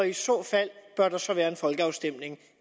i så fald være en folkeafstemning